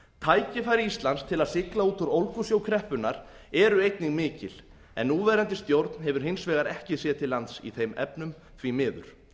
tækifæri íslands til að sigla út úr ólgusjó kreppunnar eru einnig mikil en núverandi stjórn hefur hins vegar ekki séð til lands í þeim efnum því miður